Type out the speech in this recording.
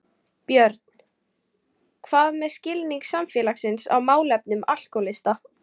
Björn: Hvað með skilning samfélagsins á málefnum alkóhólista?